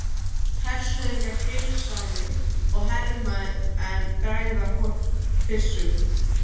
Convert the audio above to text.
Hershöfðingjar heilsa henni og hermenn bregða byssum.